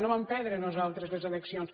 no vam perdre nosaltres les eleccions